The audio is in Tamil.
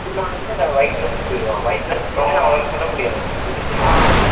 இன்னொரு குண்ட வயித்துல சுட்டுவிடுவான் வயித்துல சுட்ட உடனே அவனால சுட முடியாது விழுந்திடுவான்